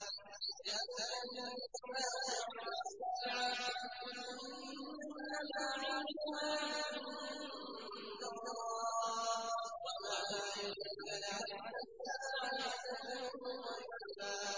يَسْأَلُكَ النَّاسُ عَنِ السَّاعَةِ ۖ قُلْ إِنَّمَا عِلْمُهَا عِندَ اللَّهِ ۚ وَمَا يُدْرِيكَ لَعَلَّ السَّاعَةَ تَكُونُ قَرِيبًا